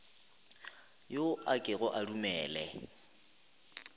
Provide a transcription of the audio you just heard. yo a kego a dumele